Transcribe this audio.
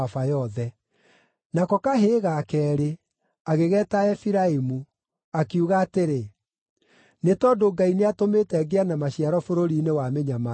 Nako kahĩĩ ga keerĩ, agĩgeeta Efiraimu, akiuga atĩrĩ, “Nĩ tondũ Ngai nĩatũmĩte ngĩe na maciaro bũrũri-inĩ wa mĩnyamaro yakwa.”